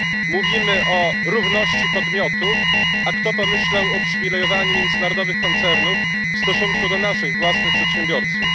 Mówimy o równości podmiotów, a kto pomyślał o uprzywilejowaniu międzynarodowych koncernów w stosunku do naszych własnych przedsiębiorców?